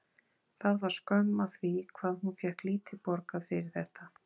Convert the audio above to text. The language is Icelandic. Það var skömm að því hvað hún fékk lítið borgað fyrir þetta.